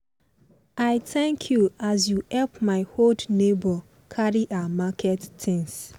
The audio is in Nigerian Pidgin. i thank you as you help my old neighbour carry her market things.